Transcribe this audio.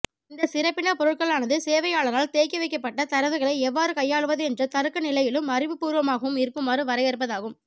இந்த சிறப்பின பொருட்களானது சேவையாளரால் தேக்கிவைக்கபட்ட தரவுகளை எவ்வாறு கையாளுவது என்ற தருக்கநிலையிலும் அறிவுபூர்வமாகவும் இருக்குமாறு வரையறுப்பதாகும்